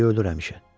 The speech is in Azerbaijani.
Biri ölür həmişə.